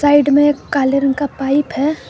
Side में काले रंग का पाइप है।